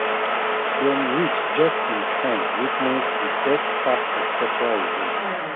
dem reach just in time witness the best part of cultural event